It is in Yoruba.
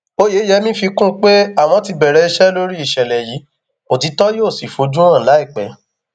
oyeyèmí fi kún un pé àwọn ti bẹrẹ iṣẹ lórí ìṣẹlẹ yìí òtítọ yóò sì fojú hàn láìpẹ